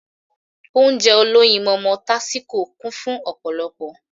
Ounjẹ olóyinmọmọ tásíko kún fun ọ̀pọ̀lọpọ̀